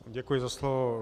Děkuji za slovo.